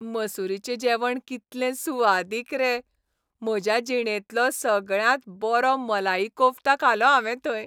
मसूरीचें जेवण कितलें सुवादीक रे. म्हज्या जिणेंतलो सगळ्यांत बरो मलाई कोफ्ता खालो हांवें थंय.